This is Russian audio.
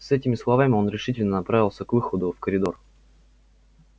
с этими словами он решительно направился к выходу в коридор